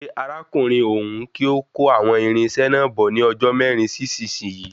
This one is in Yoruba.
Pe arákùnrin òhún kí ó kó àwọn irin náà bọ̀ ní ọjọ́ mẹrin sí isisiyi